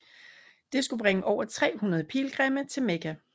Det skulle bringe over 300 pilgrimme til Mekka